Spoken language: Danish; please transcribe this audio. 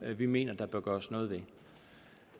vi mener der bør gøres noget ved